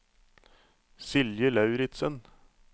Silje Lauritsen